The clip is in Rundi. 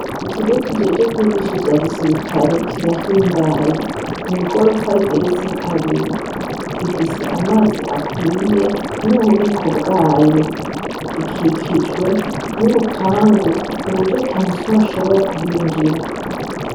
Ikigo kijejwe kwigisha ivya gisirikare kirahimbaye. Ni igorofa igeretse kabiri. Gifise amazi akwiye, n'ububiko bwayo. Gikikijwe n'urupangu ku buryo atamusuma ashobora kuhinjira.